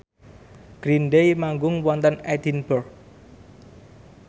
Green Day manggung wonten Edinburgh